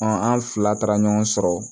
an fila taara ɲɔgɔn sɔrɔ